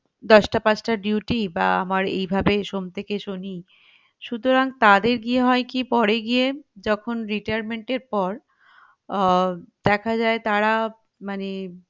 দশটা পাঁচটা র duty বা আমার এইভাবে সোম থেকে শনি সুতরাং তাদের গিয়ে হয় কি পরে গিয়ে যখন retirement এর পর আহ দেখা যাই তারা মানে